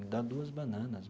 Me dá duas bananas.